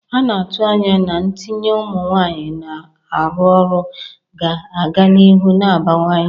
A na-atụ anya na ntinye ụmụ nwanyị na-arụ ọrụ ga-aga n'ihu na-abawanye.